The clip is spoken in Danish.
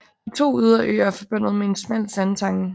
De to ydre øer er forbundet med en smal sandtange